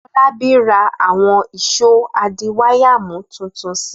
Fọlábí ra àwọn ìṣó adiwáyàmú tuntun si.